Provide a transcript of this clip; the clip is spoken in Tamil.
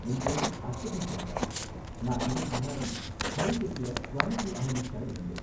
என் பேரு அஸ்வதி சந்திரா, நான் இதுக்கு முன்னாடி ஹனிடெக்ல க்குவாலிட்டி அனாலிஸ்ட்டா இருந்தேன்